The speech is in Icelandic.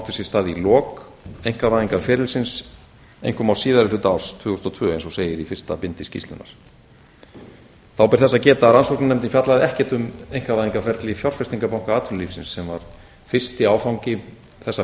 sér stað í lok einkavæðingarferlisins einkum á síðari hluta árs tvö þúsund og tvö eins og segir í fyrsta bindi skýrslunnar þá ber ess að geta að rannsóknarskýrslan fjallaði ekkert um einkavæðingarferli fjárfestingarbanka atvinnulífsins sem var fyrsti áfangi þessa